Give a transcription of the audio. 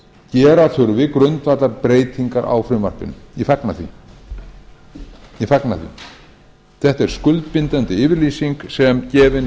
gera þurfi grundvallarbreytingar á frumvarpinu ég fagna því þetta er skuldbindandi yfirlýsing sem gefin